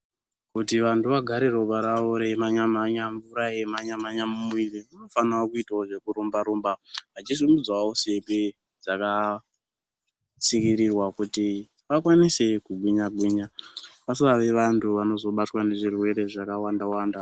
Kuti vantu vagare ropa ravo reimhanya mhanya mvura eimhanya mhanya mumwiri vanofana kuitawo zvekurumba rumba, vachisimudzawo simbi dzakatsikirirwa kuti vakwanise kugwinya gwinya vasave vantu vanobatwa nezvirwere zvakawanda wanda.